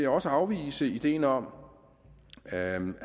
også afvise ideen om at man